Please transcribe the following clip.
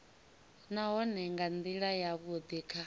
nahone nga ndila yavhudi kha